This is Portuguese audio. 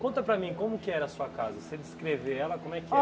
Conta para mim como que era a sua casa, você descrever ela, como é que